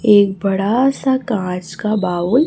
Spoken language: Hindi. एक बड़ा सा कांच का बाउल --